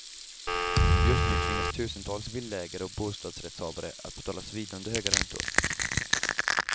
Just nu tvingas tusentals villaägare och bostadsrättshavare att betala svidande höga räntor.